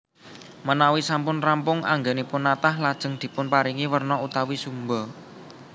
Menawi sampun rampung anggènipun natah lajeng dipunparingi werna utawi sumba